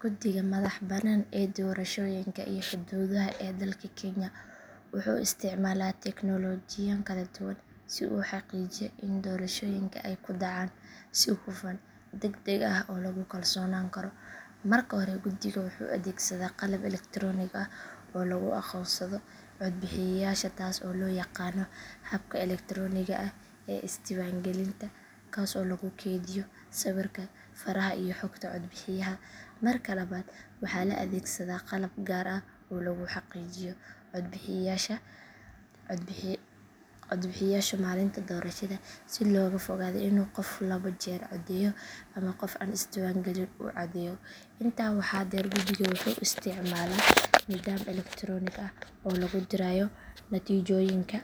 Guddiga madaxa bannaan ee doorashooyinka iyo xuduudaha ee dalka kenya wuxuu isticmaalaa teknoolojiyooyin kala duwan si uu u xaqiijiyo in doorashooyinka ay u dhacaan si hufan, degdeg ah oo lagu kalsoonaan karo. Marka hore guddigu wuxuu adeegsadaa qalab elektaroonig ah oo lagu aqoonsado codbixiyeyaasha taas oo loo yaqaan habka elektarooniga ah ee is diiwaangelinta kaas oo lagu kaydiyo sawirka, faraha iyo xogta codbixiyaha. Marka labaad waxaa la adeegsadaa qalab gaar ah oo lagu xaqiijiyo codbixiyeyaasha maalinta doorashada si looga fogaado in qof laba jeer codeeyo ama qof aan isdiiwaangelin uu codeeyo. Intaa waxaa dheer guddigu wuxuu isticmaalaa nidaam elektaroonig ah oo lagu dirayo natiijooyinka